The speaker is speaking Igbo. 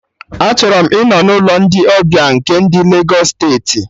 Achọrọ m ịnọ n'ụlọ ndị ọbịa nke ndị Legos steeti